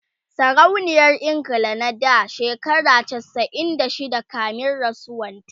sarauniyar ingila na da shekara chasa'in da shida kamin rasuwan ta